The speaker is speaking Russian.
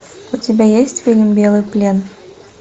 у тебя есть фильм белый плен